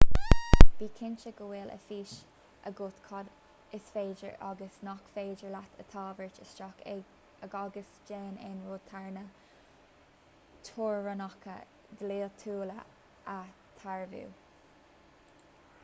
bí cinnte go bhfuil a fhios agat cad is féidir agus nach féidir leat a thabhairt isteach agus déan aon rud thar na teorainneacha dlíthiúla a dhearbhú